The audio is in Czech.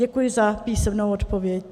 Děkuji za písemnou odpověď.